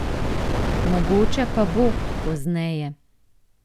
Mogoče pa bo, pozneje.